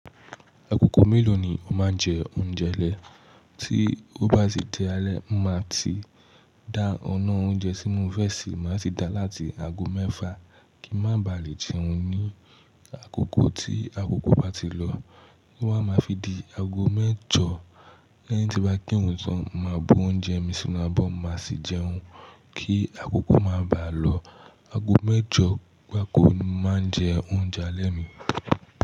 Agogo mélòó ni o máa ń jẹ oúnjẹ alẹ́? Tí ó bá ti di alẹ́, mo máa ti dá ọ̀nà oúnjẹ tí mo fẹ́ se máa se maa ti dá láti aago mẹ́fa kí ń má baà lè jẹun ní àkókò tí agogo bá ti lọ. To bá máa fi di aago mẹ́jọ lẹ́yìn tí n bá kirun tán, màá bu oúnjẹ mi sínú abọ́, màá sì jẹun kí akoko má bàá lọ. Aago mẹ́jọ gbáko ni máa njẹ oúnjẹ alẹ́ mi.